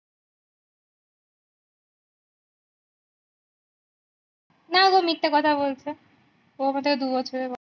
না গো মিথ্যা কথা বলছে ও আমার থাকে দু বছরের বড়ো